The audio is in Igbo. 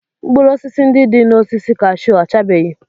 Mkpụrụ osisi ndị dị n'osisi cashew ọchabeghị?